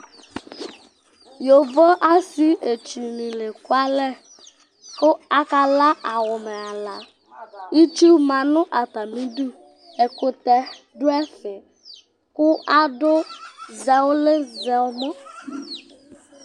Yovo asɩetsunɩ la ekualɛ kʋ akala awʋmɛ ala Itsu ma nʋ atamɩdu Ɛkʋtɛ dʋ ɛvɛ kʋ adʋ zɛ ʋlɩ zɛ ɛmɔ